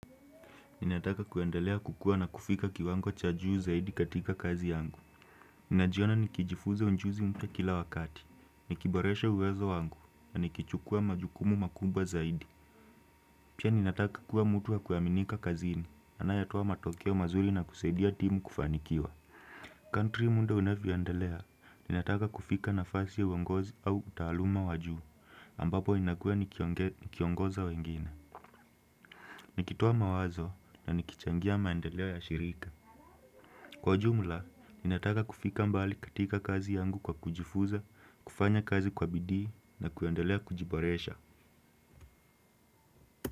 Ninataka kuendelea kukua na kufika kiwango cha juu zaidi katika kazi yangu. Ninajiona nikijifunza ujuzi mpya kila wakati. Nikiboresha uwezo wangu na nikichukua majukumu makubwa zaidi. Pia ninataka kuwa mtu wa kuaminika kazini. Anayetoa matokeo mazuri na kusaidia timu kufanikiwa. Kadiri muda unavyoendelea. Ninataka kufika nafasi ya uongozi au utaaluma wa juu. Ambapo inakuwa nikiongoza wengine. Nikitoa mawazo na nikichangia maendelea ya shirika. Kwa jumla, ninataka kufika mbali katika kazi yangu kwa kujifuza, kufanya kazi kwa bidii na kuendelea kujiboresha.